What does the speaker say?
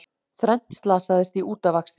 Þrennt slasaðist í útafakstri